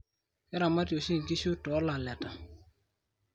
keramati oshi inkishu too laleta